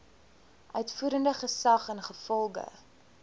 uitvoerende gesag ingevolge